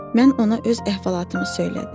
Mən ona öz əhvalatımı söylədim.